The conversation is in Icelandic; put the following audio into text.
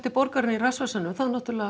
borgarinnar í rassvasanum þá náttúrulega